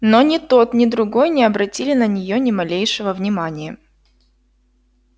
но ни тот ни другой не обратили на неё ни малейшего внимания